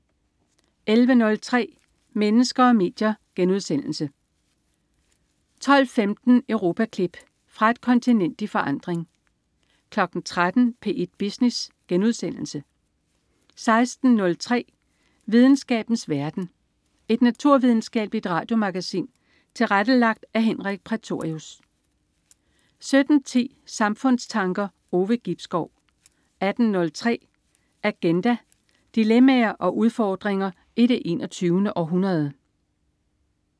11.03 Mennesker og medier* 12.15 Europaklip. Fra et kontinent i forandring 13.00 P1 Business* 16.03 Videnskabens verden. Et naturvidenskabeligt radiomagasin tilrettelagt af Henrik Prætorius 17.10 Samfundstanker. Ove Gibskov 18.03 Agenda. Dilemmaer og udfordringer i det 21. århundrede